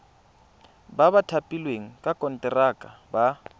ba thapilweng ka konteraka ba